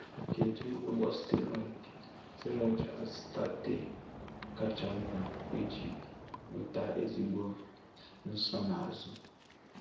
Kèdù̀ ụ̀gbọ̀ Steroid Steroid Acetate kacha mma iji nweta ezigbo nsonaazụ̀?